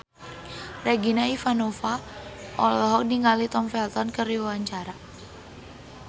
Regina Ivanova olohok ningali Tom Felton keur diwawancara